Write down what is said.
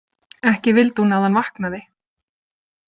Ekki vildi hún að hann vaknaði.